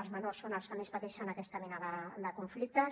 els menors són els que més pateixen aquesta mena de conflictes